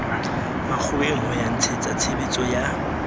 makgoweng ho ya ntshetsatshebetso ya